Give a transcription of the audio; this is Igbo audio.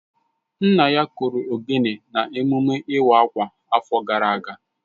Nna ya kụrụ ogene na emume iwa akwa afo gara aga